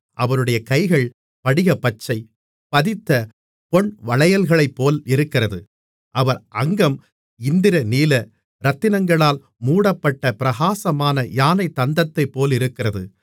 அவருடைய கைகள் படிகப்பச்சை பதித்த பொன்வளையல்களைப்போல் இருக்கிறது அவர் அங்கம் இந்திரநீல இரத்தினங்களால் மூடப்பட்ட பிரகாசமான யானைத் தந்தத்தைப்போலிருக்கிறது